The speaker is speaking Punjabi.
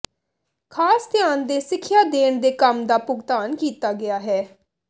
ਖਾਸ ਧਿਆਨ ਦੇ ਸਿੱਖਿਆ ਦੇਣ ਦੇ ਕੰਮ ਦਾ ਭੁਗਤਾਨ ਕੀਤਾ ਗਿਆ ਹੈ